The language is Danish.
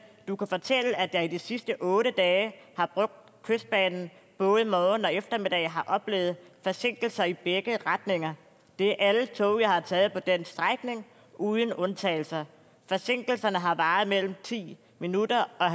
du kan fortælle at jeg i de sidste otte dage har brugt kystbanen både morgen og eftermiddag og har oplevet forsinkelser i begge retninger det er alle tog jeg har taget på den strækning uden undtagelser og forsinkelserne har varet mellem ti minutter og